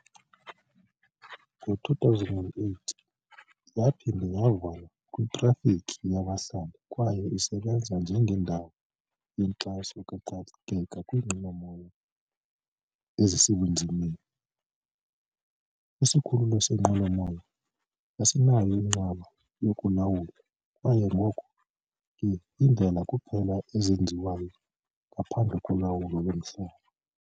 Ngo-2008 yaphinda yavulwa kwitrafikhi yabahlali kwaye isebenza njengendawo yenkxaso kaxakeka kwiinqwelomoya ezisebunzimeni. Isikhululo seenqwelomoya asinayo inqaba yokulawula kwaye ngoko ke iindlela kuphela ezenziwayo ngaphandle kolawulo lomhlaba.